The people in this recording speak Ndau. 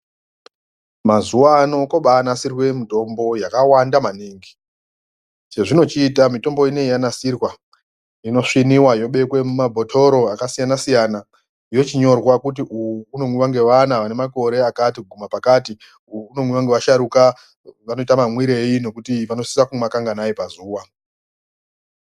Mazuwa ano kobanasirwa mitombo yakawanda maningi . Chezvinochiita mitombo iyi yanasirwa inosviniwa yobekwa mumabhotoro akasiyana siyana. Yochinyorwa kuti uwu unomwiwa ngevana vane makore akati kuguma pakati. Uwu unomwiwa nevasharukwa vanoita mamwirei nokuti vanosisa kuumwa kanganai pazuwa.